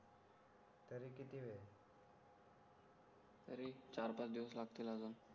तरी चार पाच दिवस लागतील